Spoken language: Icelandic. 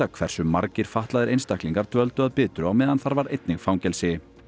hversu margir fatlaðir einstaklingar dvöldu að Bitru á meðan þar var einnig fangelsi